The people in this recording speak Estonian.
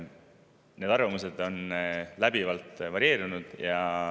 Need arvamused läbivalt varieerusid.